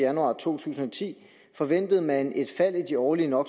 januar to tusind og ti forventede man et fald i de årlige no